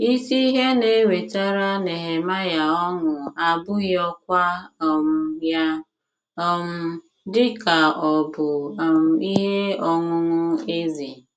Isi ihe na - ewetara Nehemaịa ọṅụ abụghị ọkwá um ya um dị ka obu um ihe ọṅụṅụ eze.